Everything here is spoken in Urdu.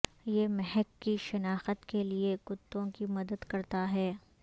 یہ مہک کی شناخت کے لئے کتوں کی مدد کرتا ہے